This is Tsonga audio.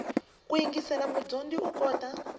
ku yingisela mudyondzi u kota